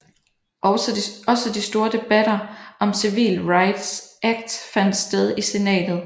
Også de store debatter om Civil Rights Act fandt sted i Senatet